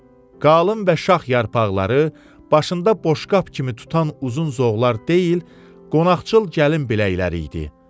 Qalın və şax yarpaqları başında boşqab kimi tutan uzun zoğlar deyil, qonaqçıl gəlin biləkləri idi.